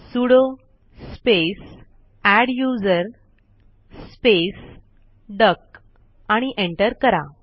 sudo space adduser space duck आणि enter करा